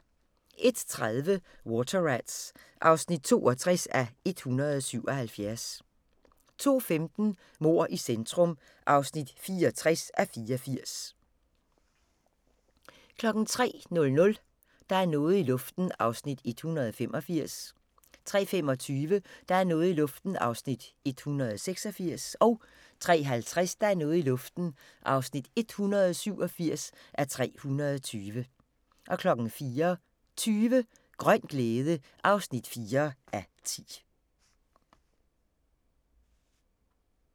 01:30: Water Rats (62:177) 02:15: Mord i centrum (64:84) 03:00: Der er noget i luften (185:320) 03:25: Der er noget i luften (186:320) 03:50: Der er noget i luften (187:320) 04:20: Grøn glæde (4:10)